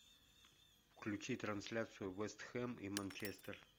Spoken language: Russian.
включи трансляцию вест хэм и манчестер